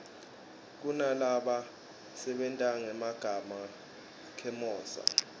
kunalaba sebentangema khemosra